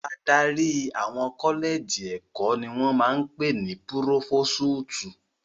Adarí àwọn kọ́lẹ́jì ẹ̀kọ́ ni wọ́n ń pè ní púrófósútù.